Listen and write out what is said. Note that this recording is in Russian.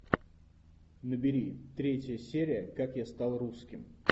набери третья серия как я стал русским